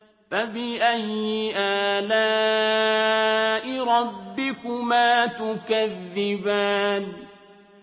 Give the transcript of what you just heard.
فَبِأَيِّ آلَاءِ رَبِّكُمَا تُكَذِّبَانِ